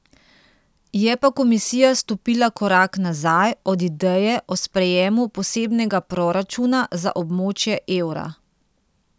Je pa komisija stopila korak nazaj od ideje o sprejemu posebnega proračuna za območje evra.